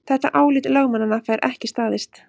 Þetta álit lögmannanna fær ekki staðist